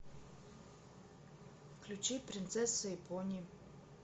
включи принцесса и пони